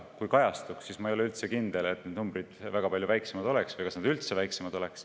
Kui kajastuks, siis ma ei ole üldse kindel, et need numbrid oleksid väga palju väiksemad või kas need üldse oleksid väiksemad.